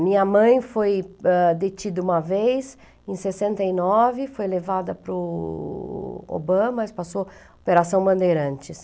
Minha mãe foi, ãh, detida uma vez, em sessenta e nove, foi levada para o Obama, mas passou Bandeirantes.